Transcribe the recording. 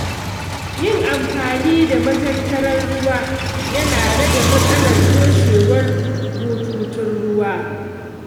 Yin amfani da matatar ruwa yana rage matsalar toshewar bututun ruwa.